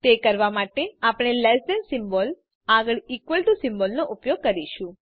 તે કરવા માટે આપણે લેસ ધેન સિમ્બોલ આગળ ઇકવલ ટુ સિમ્બોલનો ઉપયોગ કરીશું